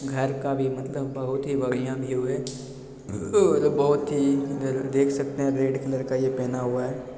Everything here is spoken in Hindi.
घर का व्यू मतलब बहुत ही बढ़ियां व्यू है यह बहुत ही देख सकते हैं रेड कलर का ये पहना हुआ है।